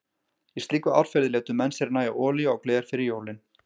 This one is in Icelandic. Í slíku árferði létu menn sér nægja olíu á gler fyrir jólin.